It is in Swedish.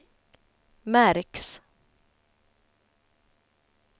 märks